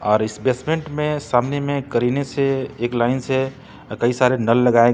और इस बेसमेंट में सामने में करीने से एक लाइन से अ कई सारे नल लगाए गए--